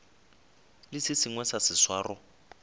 le se sengwe sa seswaro